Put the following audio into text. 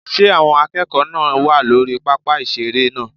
Ṣé àwọn akẹ́kọ̀ọ́ náà wà lórí pápá ìseré náà?